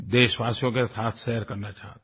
देशवासियों के साथ शेयर करना चाहता हूँ